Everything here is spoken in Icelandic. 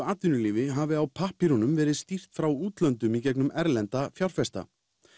atvinnulífinu hafi á pappírum verið stýrt frá útlöndum í gegnum erlendra fjárfesta